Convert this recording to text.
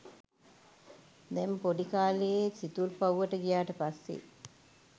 දැන් පොඩි කාලේ සිතුල්පව්වට ගියාට පස්සේ